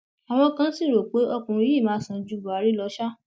àwọn kan sì rò pé ọkùnrin yìí máa sàn ju buhari lọ ṣá